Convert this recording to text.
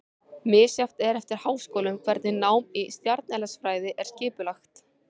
Misjafnt er eftir háskólum hvernig nám í stjarneðlisfræði er skipulagt.